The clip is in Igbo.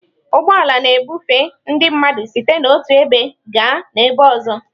Ụgbọ ala na-ebufe ndị mmadụ site n'otu ebe gaa n'ọzọ.